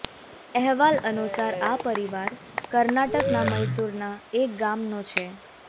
અહેવાલ અનુસાર આ પરિવાર કર્ણાટકના મૈસૂરના એક ગામનો છે